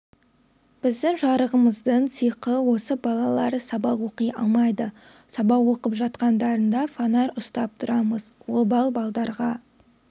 біздің жарығымыздың сиқы осы балалар сабақ оқи алмайды сабақ оқып жатқандарында фонарь ұстап тұрамыз обал балдарға